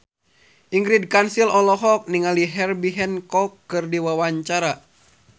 Ingrid Kansil olohok ningali Herbie Hancock keur diwawancara